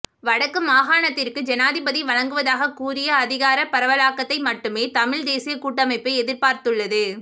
வடக்கு மாகாணத்திற்கு ஜனாதிபதி வழங்குவதாக கூறிய அதிகார பரவலாக்கத்தை மட்டுமே தமிழ்த் தேசியக் கூட்டமைப்பு எதிர்பார்த்துள்ளது